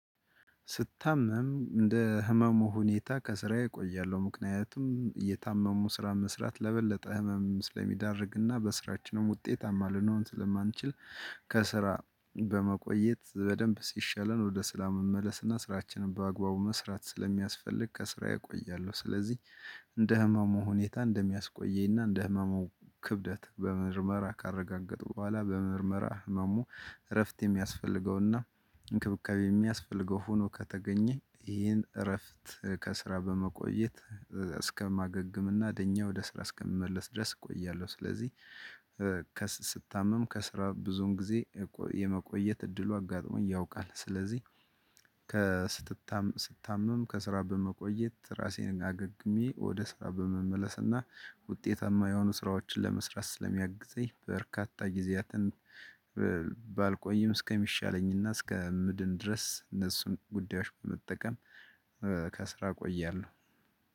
ስታመም እንደ ህመሙ ሁኔታ ከስራዬ እቆያለሁ ምክንያቱም አየታመሙ ስራ መስራት ለበለጠ ህመም ስለሚዳርግና በስራችንም ውጤታማ ልኖር ስለማንችል። ከስራ በመቆየት በደንብ ሲሻለን ወደ ስራ መመለስ አና ስራችንን በአግባቡ መስራት ስለሚያስፈልግ ከስራ እቆያለው። ስለዚህ እንደ ህመሙ ሁኔታ እንደሚያስቆየኝና እንደ ህመሙ ክብደት በምርመራ ካረጋገጠው ቦኋላ በምርመራ ህመሙ እረፍት የሚያስፈልገውና እንክብካቤ የሚያስፈልገው ሆኖ ከተገኘ ይህን እረፍት ከስራ በመቆየት እስከማገግም እና ደኜ ወደ ስራ እስከምመለስ ድረስ እቆያለሁ። ስለዚህ ስታመም ከስራ ብዙን ጊዜ የመቆየት እድሉ አጋጥሞ ያውቃል። ስለዚህ ስትታምም ከስራ በመቆየት ራሴን አገግሜ ወደ ስራ በመመለስና ውጤታማ የሆኑ ስራዎችን ለመስራት ስለሚያግዘኝ። በርካታ ጊዜያትን ባልቆይም እስከሚሻለኝና እስከ ምድን ድረስ እነሱም ጉዳዮች በመጠቀም። ከስራ ቆያለው።